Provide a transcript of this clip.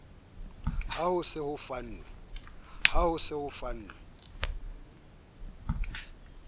ha ho se ho fanwe